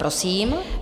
Prosím.